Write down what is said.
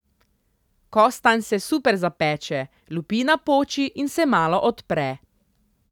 Kostanj se super zapeče, lupina poči in se malo odpre.